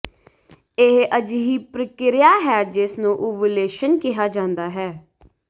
ਇਹ ਅਜਿਹੀ ਪ੍ਰਕਿਰਿਆ ਹੈ ਜਿਸ ਨੂੰ ਓਵੂਲੇਸ਼ਨ ਕਿਹਾ ਜਾਂਦਾ ਹੈ